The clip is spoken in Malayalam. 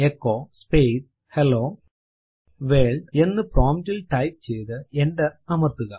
എച്ചോ സ്പേസ് ഹെല്ലോ വർൾഡ് എന്ന് പ്രോംപ്റ്റ് ൽ ടൈപ്പ് ചെയ്തു എന്റർ അമർത്തുക